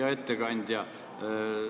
Hea ettekandja!